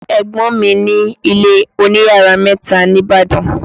Ẹ̀gbọ́n mi ní ilé oní yàrá mẹ́ta ní Ìbàdàn